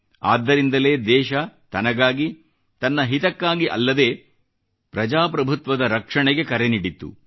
ಆದ್ದರಿಂದಲೇ ದೇಶ ತನಗಾಗಿ ತನ್ನ ಹಿತಕ್ಕಾಗಿ ಅಲ್ಲದೇ ಪ್ರಜಾಪ್ರಭುತ್ವದ ರಕ್ಷಣೆಗೆ ಕರೆ ನೀಡಿತ್ತು